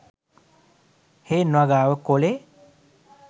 හේන් වගාව කොලේ